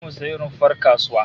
Zamu sayi rumfar kasuwa